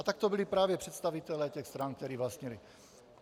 A tak to byli právě představitelé těch stran, kteří vlastnili.